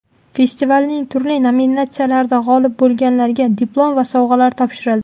Festivalning turli nominatsiyalarida g‘olib bo‘lganlarga diplom va sovg‘alar topshirildi.